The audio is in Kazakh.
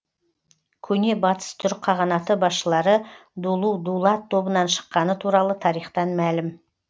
көне батыс түрік қағанаты басшылары дулу дулат тобынан шыққаны туралы тарихтан мәлім